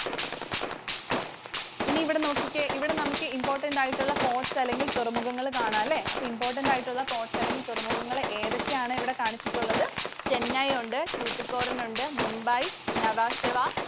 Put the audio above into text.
ഇനി ഇവിടെ നോക്കിക്കേ. ഇവിടെ നമുക്ക് important ആയിട്ടുള്ള ports അല്ലെങ്കിൽ തുറമുഖങ്ങൾ കാണാല്ലേ. അപ്പോൾ important ആയിട്ടുള്ള ports അല്ലെങ്കിൽ തുറമുഖങ്ങൾ ഏതൊക്കെയാണ് ഇവിടെ കാണിച്ചിട്ടുള്ളത്? Chennai ഉണ്ട്, Tuticorin ഉണ്ട്, Mumbai, Nhava Sheva.